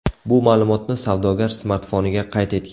Bu ma’lumotni savdogar smartfoniga qayd etgan.